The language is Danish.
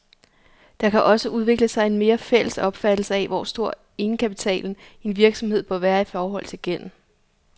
Der kan også udvikle sig en mere fælles opfattelse af, hvor stor egenkapitalen i en virksomhed bør være i forhold til gælden.